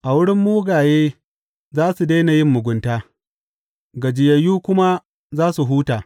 A wurin mugaye za su daina yin mugunta, gajiyayyu kuma za su huta.